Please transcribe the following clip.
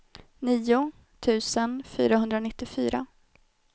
nio tusen fyrahundranittiofyra